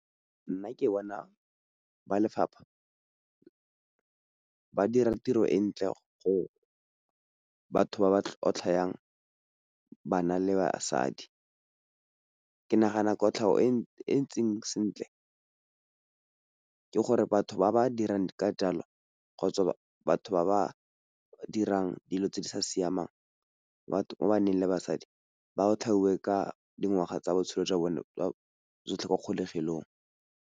Nna ke bona ba lefapha ba dira tiro e ntle gore batho ba ba tlhotlha yang bana le basadi. Ke nagana kotlhago e ntseng sentle ke gore batho ba ba dirang ka jalo kgotsa batho ba ba dirang dilo tse di sa siamang, batho ba ba na leng basadi ba otlhaiwe ka dingwaga tsa botshelo jwa bone jwa tsotlhe kwa kgolegelong.